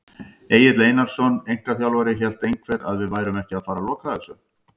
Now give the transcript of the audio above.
Egill Einarsson, einkaþjálfari: Hélt einhver að við værum ekki að fara loka þessu!?